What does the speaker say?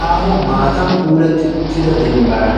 Aaho maattan puulatti uttidda dembban